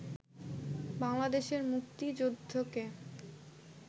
বাংলাদেশের মুক্তিযুদ্ধকে